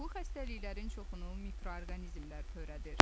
Bu xəstəliklərin çoxunu mikroorqanizmlər törədir.